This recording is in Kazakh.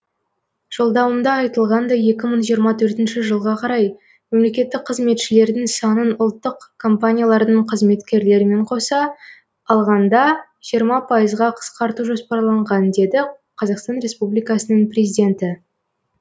жолдауымда айтылғандай екі мың жиырма төртінші жылға қарай мемлекеттік қызметшілердің санын ұлттық компаниялардың қызметкерлерімен қоса алғанда жиырма бес пайызға қысқарту жоспарланған деді қр президенті